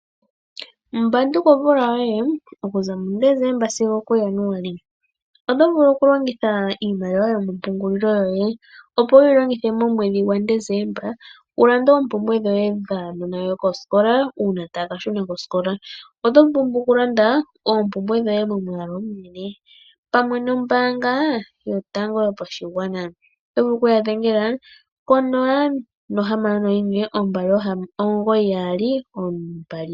Mbanduka omvula yoye omkuza kuDecemba sigo okuJanuali. Oto vulu okulongitha iimaliwa yomapungulilo goye ,opo wu yi longithe muDecemba wu lande oompumbwe dhaanasikola uuna taya ka shuna kosikola. Oto pumbwa okulanda oompumwe dhoye momwaalu omunene pamwe nombaanga yotango yopashigwana. Ya dhengela ko 061 2992222